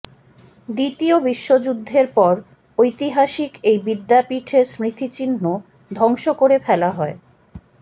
দ্বিতীয় বিশ্বযুদ্ধের পর ঐতিহাসিক এই বিদ্যাপীঠের স্মৃতিচিহ্ন ধ্বংস করে ফেলা হয়